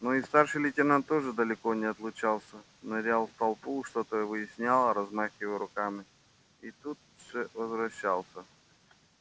но и старший лейтенант тоже далеко не отлучался нырял в толпу что то выяснял размахивая руками и тут же возвращался